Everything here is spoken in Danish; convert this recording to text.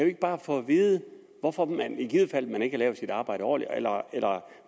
ikke bare få at vide hvorfor man i givet fald ikke har lavet sit arbejde ordentligt eller